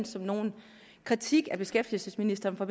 som nogen kritik af beskæftigelsesministeren for